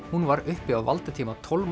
hún var uppi á valdatíma